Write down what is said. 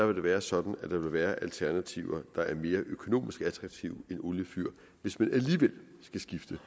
vil være sådan at der vil være alternativer der er mere økonomisk attraktive end oliefyr hvis man alligevel skal skifte